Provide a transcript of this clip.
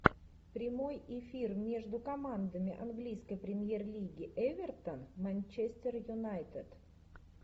прямой эфир между командами английской премьер лиги эвертон манчестер юнайтед